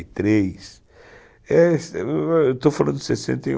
e três, é, estou falando sessenta